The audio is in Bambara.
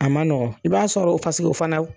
A ma nɔgɔn i b'a sɔrɔ fasige o fana.